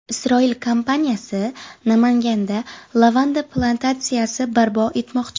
Isroil kompaniyasi Namanganda lavanda plantatsiyasi barpo etmoqchi.